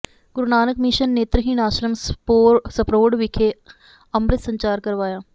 ਗੁਰੂ Nanak mission ਨੇਤਰਹੀਣ ਆਸ਼ਰਮ ਸਪਰੋੜ ਵਿਖੇ ਅੰਮਿ੍ਤ ਸੰਚਾਰ ਕਰਵਾਇਆ